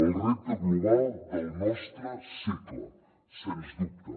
el repte global del nostre segle sens dubte